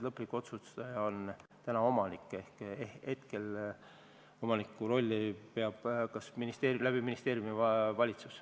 Lõplik otsustaja on täna omanik ja hetkel peab omaniku rolli täitma ministeeriumi kaudu valitsus.